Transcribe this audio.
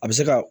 A bɛ se ka